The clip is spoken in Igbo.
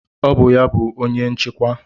Ọ bụ ya bụ onye nchịkwa.